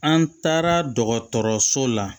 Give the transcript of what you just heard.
An taara dɔgɔtɔrɔso la